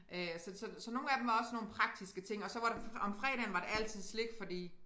Øh så så så nogle af dem var også sådan nogle praktiske ting og så var der om fredagen var der altid slik fordi